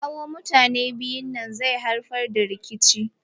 Kawo mutanen biyu nan zai haifar da rikici.